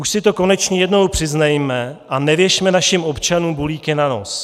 Už si to konečně jednou přiznejme a nevěšme našim občanům bulíky na nos.